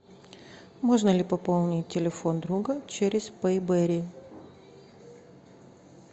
можно ли пополнить телефон друга через пей бери